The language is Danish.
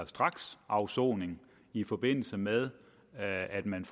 straksafsoning i forbindelse med at man